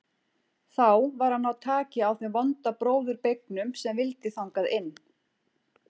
Þá var að ná taki á þeim vonda bróður beygnum sem vildi þangað inn.